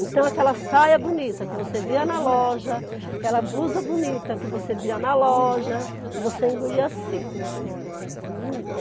Então, aquela saia bonita que você via na loja, aquela blusa bonita que você via na loja, você engolia seco.